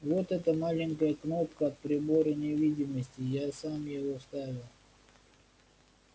вот эта маленькая кнопка от прибора невидимости я сам его вставил